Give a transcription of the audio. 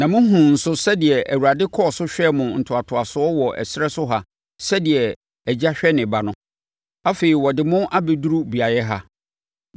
Na mohunuu nso sɛdeɛ Awurade kɔɔ so hwɛɛ mo ntoatoasoɔ wɔ ɛserɛ so ha sɛdeɛ agya hwɛ ne ba no. Afei, ɔde mo abɛduru beaeɛ ha.”